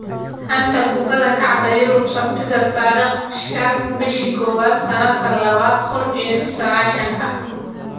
Xanta Kubadda Cagta Yurub Sabtida tariq shaan bisha kowad sanadka labada kun iyo sagashanka: Griezmann, Neymar, Maddison, Mandzukic, Willian, Odegaard,